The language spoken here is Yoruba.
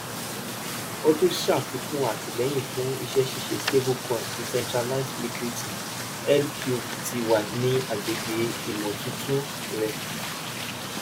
o tun ṣafikun atilẹyin fun iṣẹṣiṣe [c]stablecoin decentralized liquity L-Q-T-Y ni agbegbe imotuntun rẹ